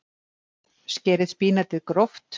Skerið spínatið gróft.